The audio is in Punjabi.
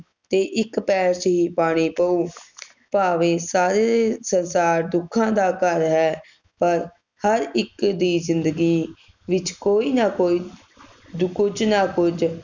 ਤੇ ਇਕ ਪੈਰ ਚ ਹੀ ਪਾਨੀ ਪਊ ਭਾਵੇਂ ਸਾਰੇ ਸੰਸਾਰ ਦੁੱਖਾਂ ਦਾ ਘਰ ਹੈ ਪਰ ਹਰ ਇਕ ਦੀ ਜਿੰਦਗੀ ਵਿਚ ਕੋਈ ਨਾ ਕੋਈ ਕੁਝ ਨਾ ਕੁਝ